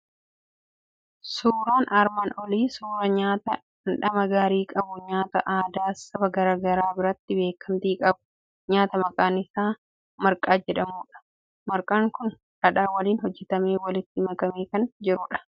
Suuraan armaan olii suuraa nyaata dhamdhama gaarii qabu, nyaata aadaa saba garaa garaa biratti beekamtii qabu nyaata maqaan isaa marqaa jedhamudha. Marqaan kun dhadhaa waliin hojjetamee walitti makamaa kan jirudha.